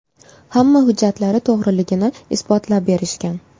Hamma hujjatlari to‘g‘riligini isbotlab berishgan.